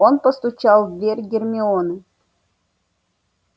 он постучал в дверь гермионы